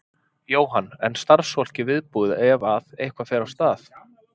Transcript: Jóhann: En starfsfólkið viðbúið ef að, ef eitthvað fer af stað?